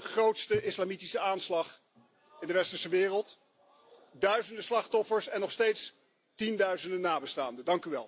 Dat was de grootste islamitische aanslag in de westerse wereld duizenden slachtoffers en nog steeds tienduizenden nabestaanden.